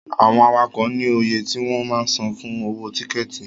Àwọn awakọ̀ ní oye tí wọ́n máa ń san fún owó tíkẹ̀tì.